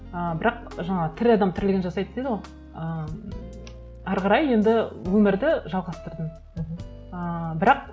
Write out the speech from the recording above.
ы бірақ жаңа тірі адам тірлігін жасайды дейді ғой ы әрі қарай енді өмірді жалғастырдым мхм ыыы бірақ